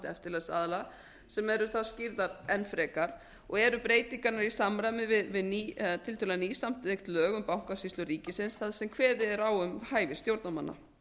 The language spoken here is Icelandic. eftirlitsaðila sem eru þá skýrðar enn frekar og eru breytingarnar í samræmi við tiltölulega nýsamþykkt lög um bankasýslu ríkisins þar sem kveðið er á um hæfi stjórnarmanna